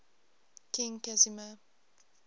king casimir